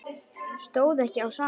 Stóð ekki á sama.